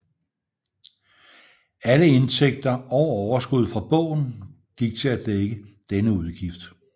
Alle indtægter og overskud fra bogen gik til at dække denne udgift